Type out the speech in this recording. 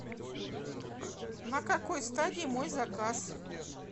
на какой стадии мой заказ